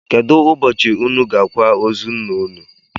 Kedụ ụbọchị ụnụ ga-akwa ozu ńnà ụnụ?